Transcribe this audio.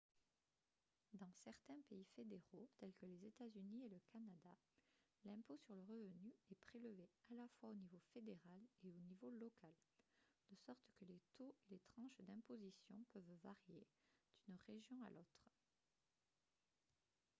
dans certains pays fédéraux tels que les états-unis et le canada l'impôt sur le revenu est prélevé à la fois au niveau fédéral et au niveau local de sorte que les taux et les tranches d'imposition peuvent varier d'une région à l'autre